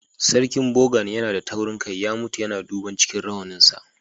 Sarkin Gbogan yana da taurin kai, ya mutu duban cikin rawanin sa.